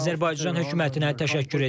Azərbaycan hökumətinə təşəkkür edirəm.